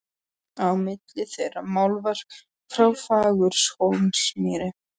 Á milli þeirra málverk frá Fagurhólsmýri.